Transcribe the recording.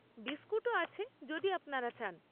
বিস্কুটও আছে যদি আপনারা চান।